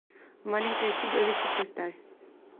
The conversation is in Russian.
маленькое чудовище поставь